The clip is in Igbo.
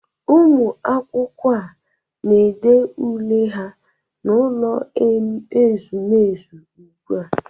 Ụmụ akwụkwọ a na-ede ule ha n'ụlọ ezumezu ugbua